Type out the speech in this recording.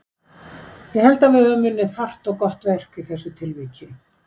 Ég held að við höfum unnið þarft og gott verk í þessu tilviki.